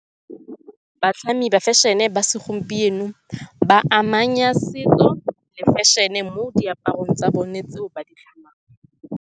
Batlhami ba fashion-e ba segompieno ba amanya setso le fashion-e mo diaparong tsa bone tseo ba di tlhamang.